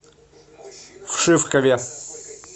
вшивкове